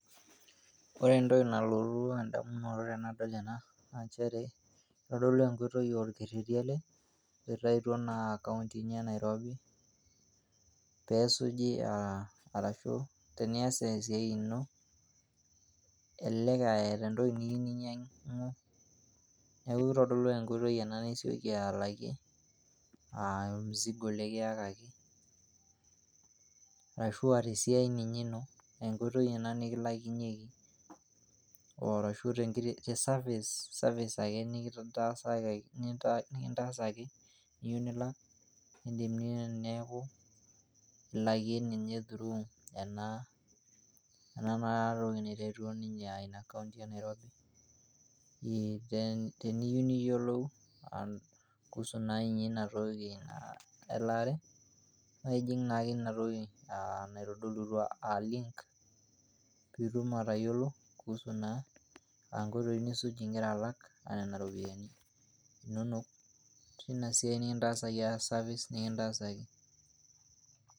Ore entoki nalotu edamunoto tenadol enaa na nchere, kitodolu enkoitoi aa orketeti ele loitayutuo naa inkauntini ee Nairobi pesuji arashu teniyas esiai ino, elelek etaa entoki niyou ninyang'u, neeku kitodolu ake enkoitoi nisoiki alakie Ormzigo likiyakaki, arashu tesiyau ninye ino, enkoitoi ena nikilakinyeki arashu te service, service ake nikitasakaki niyou nilak idim neeku ilakie ninye through ena toki naitayutuo ninche ena kaunti ee Nairobi. Then teniyou niyolou kuhusu naa ninye ina toki naa elare na ijing' naake ina toki naitodulutua aa link, pitum atayolou kuhusu naa nkoitoi nisuj igira alak nena ropiani inonok teina siai nikintasaki te service nikintasaki.